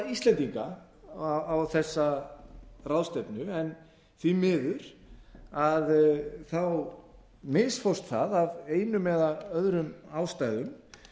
íslendinga á þessa ráðstefnu en því miður misfórst það af einum eða öðrum ástæðum